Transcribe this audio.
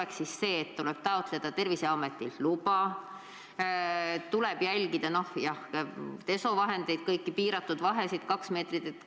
Kas tuleb taotleda Terviseametilt luba ja jälgida, et oleks desovahendid olemas ja kõik jälgiks vahesid 2 meetrit?